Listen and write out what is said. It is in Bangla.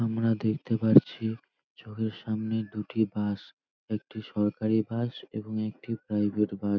আমরা দেখতে পারছি চোখের সামনে দুটি বাস । একটি সরকারি বাস এবং একটি প্রাইভেট বাস ।